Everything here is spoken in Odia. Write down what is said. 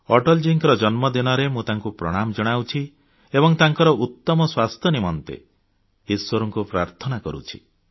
ଅଟଳଜୀଙ୍କ ଜନ୍ମ ଦିନରେ ମୁଁ ତାଙ୍କୁ ପ୍ରଣାମ ଜଣାଉଛି ଏବଂ ତାଙ୍କର ଉତ୍ତମ ସ୍ୱାସ୍ଥ୍ୟ ନିମନ୍ତେ ଇଶ୍ବରଙ୍କୁ ପ୍ରାର୍ଥନା କରୁଛୁ